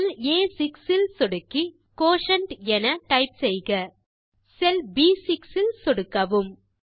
செல் ஆ6 இல் சொடுக்கி குயோட்டியன்ட் என டைப் செய்க செல் ப்6 இல் சொடுக்கவும்